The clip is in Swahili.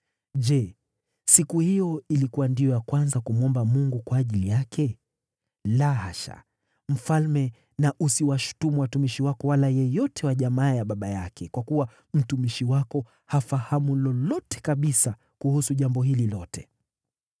Je, siku hiyo ilikuwa ndiyo ya kwanza kumwomba Mungu kwa ajili yake? La hasha! Mfalme na usiwashutumu watumishi wako wala yeyote wa jamaa ya baba yake, kwa kuwa mtumishi wako hafahamu lolote kabisa kuhusu jambo hili lote.”